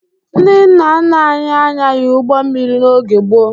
Ndị nna nna anyị anyaghị ụgbọ mmiri n'oge gboo.